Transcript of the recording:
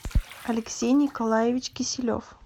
алексей николаевич киселев